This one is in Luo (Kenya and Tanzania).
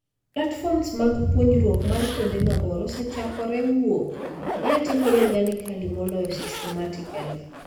Platforms mag puonjruok mar kuonde mabor osechako wuok, mae timore organically moloyo systematically